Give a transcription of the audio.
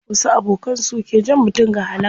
Wasu abokan su ke jan mutum ga halaka.